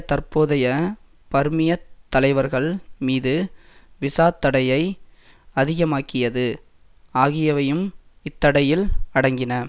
தற்போதைய பர்மியத் தலைவர்கள் மீது விசாத் தடையை அதிகமாக்கியது ஆகியவையும் இத்தடையில் அடங்கின